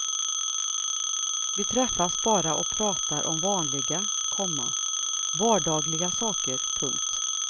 Vi träffas bara och pratar om vanliga, komma vardagliga saker. punkt